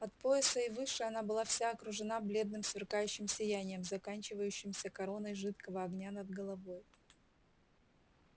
от пояса и выше она была вся окружена бледным сверкающим сиянием заканчивающимся короной жидкого огня над головой